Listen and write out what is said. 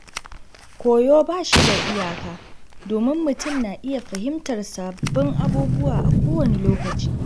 Koyo ba shi da iyaka, domin mutum na iya fahimtar sabbin abubuwa a kowane lokaci.